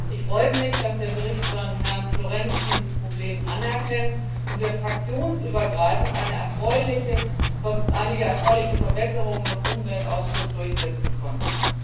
Ich freue mich, dass der Bericht von Herrn Florenz dieses Problem anerkennt und wir fraktionsübergreifend einige erfreuliche Verbesserungen im Umweltausschuss durchsetzen konnten.